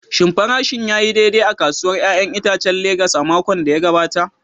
Shin farashin ya yi daidai a kasuwar 'ya'yan itacen Legas a makon da ya gabata?